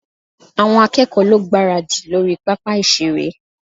Àwọn akẹ́kọ̀ọ́ lọ gbáradì lórí pápá ìṣeré